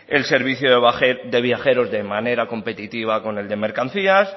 el servicio de viajeros de manera competitiva con el de mercancías